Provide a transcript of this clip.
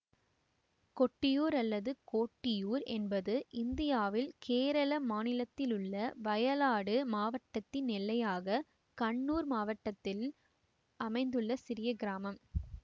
கொட்டியூர் அல்லது கோட்டியூர் என்பது இந்தியாவில் கேரள மாநிலத்திலுள்ள வயநாடு மாவட்டத்தின் எல்லையாக கண்ணூர் மாவட்டத்தில் அமைந்துள்ள சிறிய கிராமம்